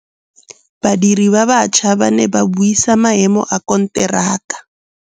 Badiri ba baša ba ne ba buisa maêmô a konteraka.